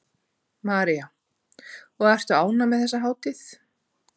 María: Og ertu ánægð með þessa hátíð?